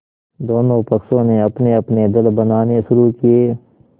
दोनों पक्षों ने अपनेअपने दल बनाने शुरू किये